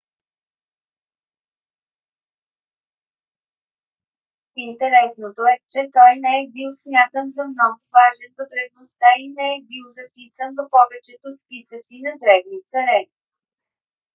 интересното е че той не е бил смятан за много важен в древността и не е бил записан в повечето списъци на древни царе